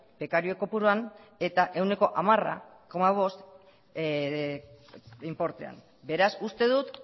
bekario kopuruan eta ehuneko hamar koma bost inportean beraz uste dut